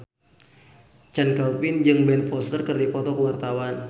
Chand Kelvin jeung Ben Foster keur dipoto ku wartawan